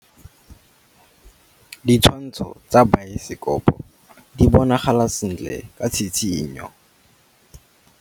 Ditshwantshô tsa biosekopo di bonagala sentle ka tshitshinyô.